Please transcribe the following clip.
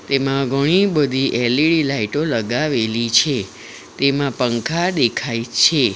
તેમાં ઘણી બધી એલ_ઇ_ડી લાઇટો લગાવેલી છે તેમાં પંખા દેખાય છે.